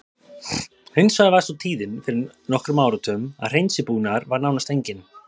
Hins vegar var sú tíðin fyrir nokkrum áratugum að hreinsibúnaður var nánast enginn.